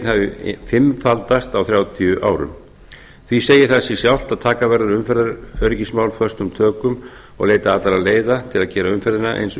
hafi fimmfaldast á þrjátíu árum því segir það sig sjálft að taka verður umferðaröryggismál föstum tökum og leita allra leiða til að gera umferðina eins